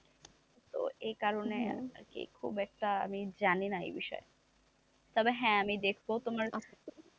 তো এই কারণে আর কি খুব একটা আমি জানিনা এই বিষয় তবে হ্যাঁ আমি দেখব তোমার,